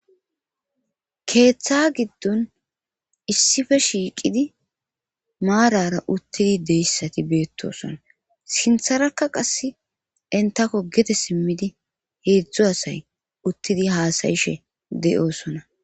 Keeththa giddon issife shiiqidi maarara uttidi deyssati beettosona sintharakka qass intako gete simmidi heedzdzo asay uttidi haasayishe deyosona